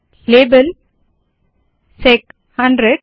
label SEC 100